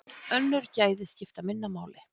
Önnur gæði skipta minna máli.